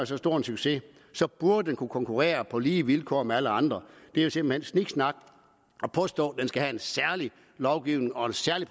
så stor succes så burde det kunne konkurrere på lige vilkår med alle andre det er simpelt hen sniksnak at påstå at det skal have en særlig lovgivning og en særlig